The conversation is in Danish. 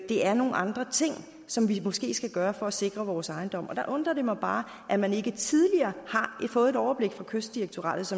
det er nogle andre ting som vi måske skal gøre for at sikre vores ejendom der undrer det mig bare at man ikke tidligere har fået et overblik fra kystdirektoratets